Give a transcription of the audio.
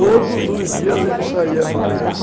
Todos os dias ele saía para pegar.